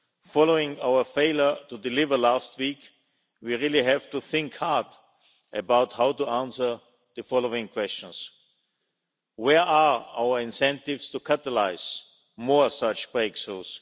Following our failure to deliver last week, we really have to think hard about how to answer the following questions where are our incentives to catalyse more such breakthroughs?